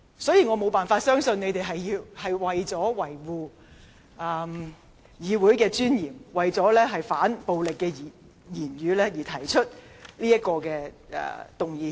所以，我無法相信他們是為了維護議會尊嚴和反對暴力言論而提出譴責議案。